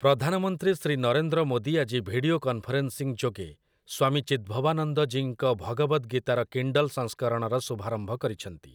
ପ୍ରଧାନମନ୍ତ୍ରୀ ଶ୍ରୀ ନରେନ୍ଦ୍ର ମୋଦୀ ଆଜି video conferencing ଯୋଗେ ସ୍ୱାମୀ ଚିଦ୍ଭବାନନ୍ଦଜୀଙ୍କ ଭଗବଦ୍ ଗୀତାର କିଣ୍ଡଲ୍ ସଂସ୍କରଣର ଶୁଭାରମ୍ଭ କରିଛନ୍ତି ।